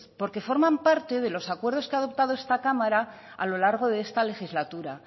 porque forman parte de los acuerdos que ha adoptado esta cámara a lo largo de esta legislatura